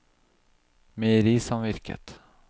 meierisamvirket